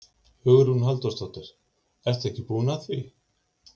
Hugrún Halldórsdóttir: Ertu ekki búin að því?